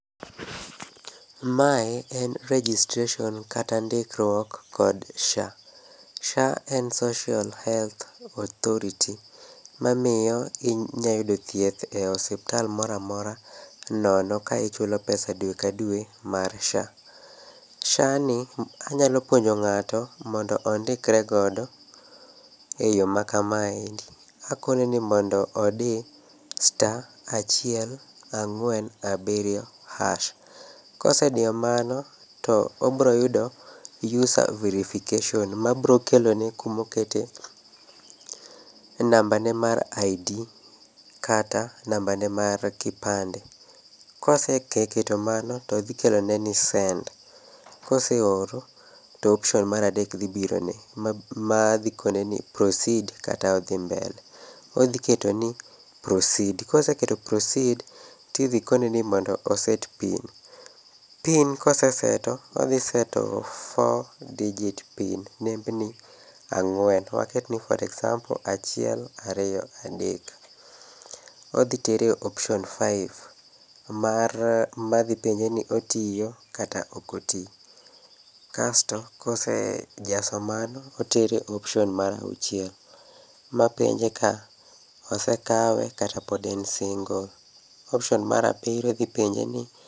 Mae en registration kata ndikruok kod SHA. SHA en Social Health Authority, mamiyo inyayudo thieth e osiptal moramora nono ka ichulo pesa dwe ka dwe mar SHA. SHA ni anyalo puonjo ng'ato mondo ondikregodo eyo ma kamaendi. Akone ni mondo odi star one four seven hash. Kosediyo mano, to obroyudo user verification ma brokelone kumokete nambane mar ID[kata nambane mar kipande. Koseketo mano, to dhikelone ni send, koseoro to option maradek dhi birone. Ma dhi koneni proceed kata odhi mbele. Odhi keto ni proceed, koseketo proceed tidhikoneni ni mondo oset pin. PIN koseseto, odhiseto four digit pin, nembni ang'wen. Waket ni for example achiel ariyo adek. Odhitere e option five, madhipenje ni otiyo kata okoti. Kasto kosejaso mano, otere e option mar auchiel ma penje ka osekawe kata pod en single. Option mar abiriyo dhi penje ni.